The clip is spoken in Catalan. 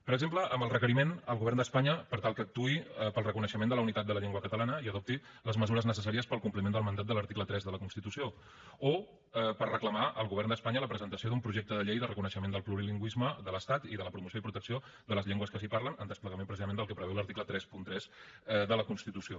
per exemple en el requeriment al govern d’espanya per tal que actuï per al reconeixement de la unitat de la llengua catalana i adopti les mesures necessàries per al compliment del mandat de l’article tres de la constitució o per reclamar al govern d’espanya la presentació d’un projecte de llei de reconeixement del plurilingüisme de l’estat i de la promoció i protecció de les llengües que s’hi parlen en desplegament precisament del que preveu l’article trenta tres de la constitució